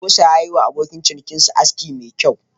Gosa ya yi wa abokin cinikinsa aski mai kyau.